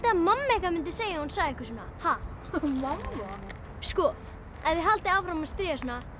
að mamma ykkar myndi segja ef hún sæi ykkur svona mamma ef þið haldið áfram að stríða svona